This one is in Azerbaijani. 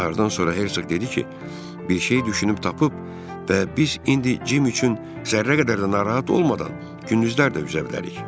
Narddan sonra Hersoq dedi ki, bir şeyi düşünüb tapıb və biz indi Cim üçün zərrə qədər də narahat olmadan gündüzlər də üzə bilərik.